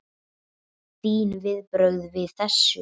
Þín viðbrögð við þessu?